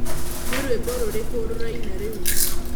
nĩ rwĩmbo rũrĩkũ rũraina rĩu